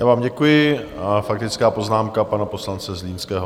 Já vám děkuji a faktická poznámka pana poslance Zlínského.